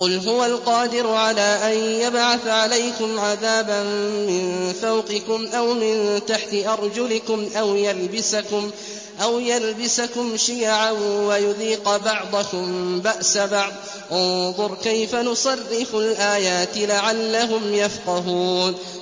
قُلْ هُوَ الْقَادِرُ عَلَىٰ أَن يَبْعَثَ عَلَيْكُمْ عَذَابًا مِّن فَوْقِكُمْ أَوْ مِن تَحْتِ أَرْجُلِكُمْ أَوْ يَلْبِسَكُمْ شِيَعًا وَيُذِيقَ بَعْضَكُم بَأْسَ بَعْضٍ ۗ انظُرْ كَيْفَ نُصَرِّفُ الْآيَاتِ لَعَلَّهُمْ يَفْقَهُونَ